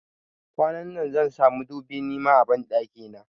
Kwanan nan zansa madubi nima a banɗaki na.